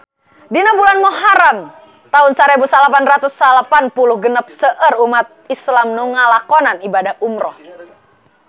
Dina bulan Muharam taun sarebu salapan ratus salapan puluh genep seueur umat islam nu ngalakonan ibadah umrah